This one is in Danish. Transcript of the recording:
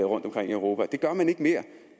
rundtomkring i europa og det gør man ikke mere